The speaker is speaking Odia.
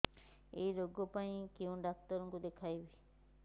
ଏଇ ରୋଗ ପାଇଁ କଉ ଡ଼ାକ୍ତର ଙ୍କୁ ଦେଖେଇବି